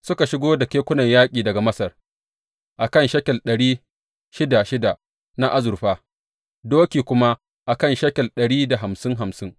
Suka shigo da kekunan yaƙi daga Masar a kan shekel ɗari shida shida na azurfa, doki kuma a kan shekel ɗari da hamsin hamsin.